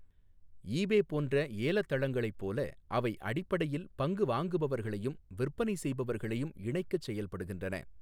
ஈ பே போன்ற ஏலத் தளங்களைப் போல அவை அடிப்படையில் பங்கு வாங்குபவர்களையும் விற்பனை செய்பவர்களையும் இணைக்கச் செயல்படுகின்றன.